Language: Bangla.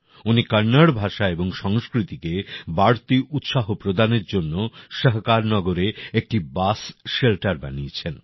উনি কন্নড় ভাষা এবং সংস্কৃতিকে বাড়তি উৎসাহ প্রদানের জন্য সহকার নগরে একটি বাস শেল্টার বানিয়েছেন